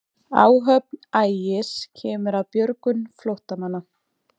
Áhöfn Ægis kemur að björgun flóttamanna